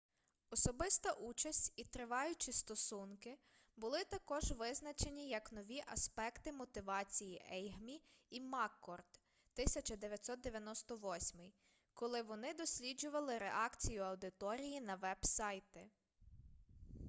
"особиста участь і триваючі стосунки були також визначені як нові аспекти мотивації ейгмі і маккорд 1998 коли вони досліджували реакцію аудиторії на веб-сайти